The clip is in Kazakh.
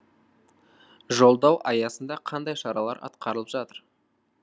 жолдау аясында қандай шаралар атқарылып жатыр